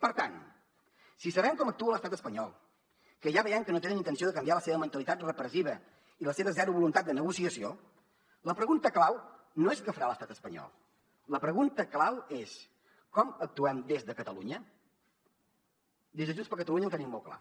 per tant si sabem com actua l’estat espanyol que ja veiem que no tenen intenció de canviar la seva mentalitat repressiva i la seva zero voluntat de negociació la pregunta clau no és què farà l’estat espanyol la pregunta clau és com actuem des de catalunya des de junts per catalunya ho tenim molt clar